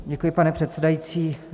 Děkuji, pane předsedající.